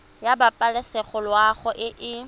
ya pabalesego loago e e